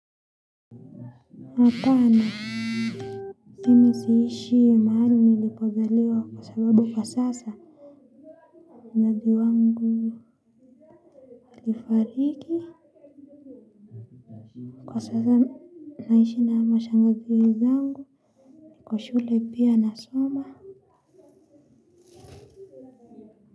Mapana, simi siishi mahali nilipozaliwa kwa sababu kwa sasa mnadi wangu nilifariki, kwa sasa naishi na mashangaziri zangu, kwa shule pia nasoma.